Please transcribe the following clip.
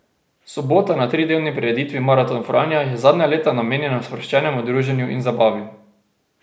Sobota na tridnevni prireditvi maraton Franja je zadnja leta namenjena sproščenemu druženju in zabavi.